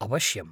अवश्यम्।